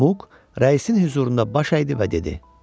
Muq rəisin hüzurunda baş əydi və dedi: